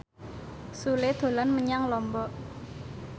Sule dolan menyang Lombok